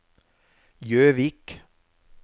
Jøvik